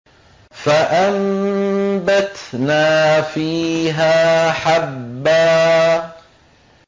فَأَنبَتْنَا فِيهَا حَبًّا